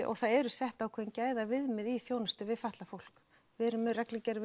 og það eru sett ákveðin gæðaviðmið í þjónustu við fatlað fólk við erum með reglugerð